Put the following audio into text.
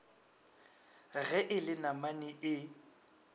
ge e le namane e